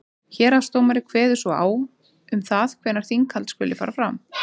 héraðsdómari kveður svo á um það hvenær þinghald skuli fara fram